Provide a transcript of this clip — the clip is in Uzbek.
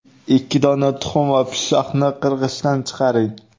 Ikki dona tuxum va pishloqni qirg‘ichdan chiqaring.